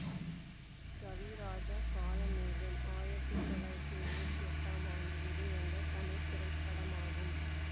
கவிராஜ காளமேகம் ஆயிரத்தி தொள்ளாயிரத்தி எழுவத்தி எட்டாம் ஆண்டு வெளிவந்த தமிழ் திரைப்படமாகும்